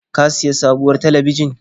Ka sayi sabuwar talabijin?